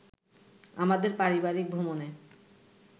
আমাদের পারিবারিক ভ্রমণে